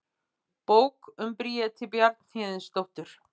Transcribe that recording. Bók um Bríeti Bjarnhéðinsdóttur.